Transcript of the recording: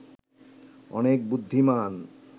অনেক বুদ্ধিমান